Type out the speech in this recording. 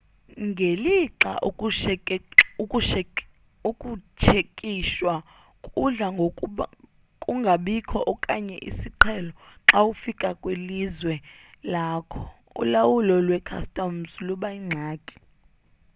ngelixa ukutshekishwa kudla ngokungabikho okanye isiqhelo xa ufika kwilizwe lakho ulawulo lwe-customs luba yingxaki